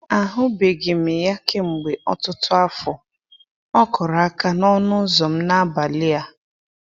Ahụbeghị m ya kemgbe ọtụtụ afọ, ọ kụrụ aka n'ọnụ ụzọ m n'abalị a.